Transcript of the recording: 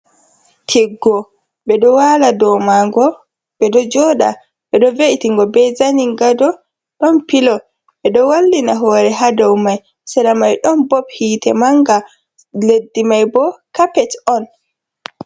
Tiggo bedo wala domago bedo joda bedo ve’itingo be zaningado, don pilo be do wallina hore ha doumai sedamai don bob hite manga leddi mai bo cappet on.